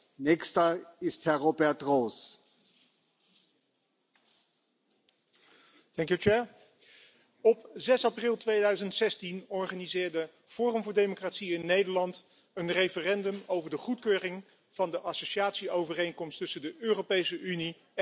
Voorzitter, op 6 april 2016 organiseerde Forum voor Democratie in Nederland een referendum over de goedkeuring van de associatieovereenkomst tussen de Europese Unie en Oekraïne.